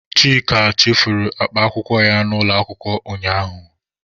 Chika chefuru akpa akwụkwọ ya n'ụlọ akwụkwọ ụnyaahụ.